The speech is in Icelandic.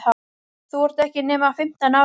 Þú ert ekki nema fimmtán ára.